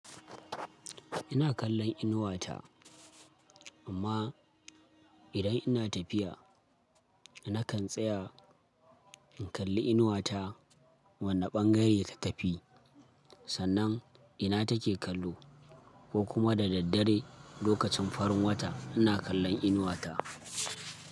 Ina kallon inuwata amma idan ina tafiya nakan tsaya in kalli inuwata wane ɓangare ta tafi sannan ina take kallo ko kuma da daddare lokacin farin wata ina kallon inuwata.